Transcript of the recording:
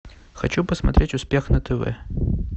хочу посмотреть успех на тв